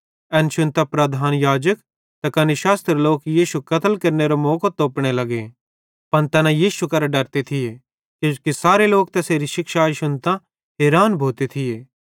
एन शुन्तां प्रधान याजक त कने शास्त्री लोक यीशु कत्ल केरनेरो मौको तोपने लग्गे पन तैना यीशु केरां डरते थिये किजोकि सारे लोक तैसेरी शिक्षाई शुन्तां हैरान भोते थिये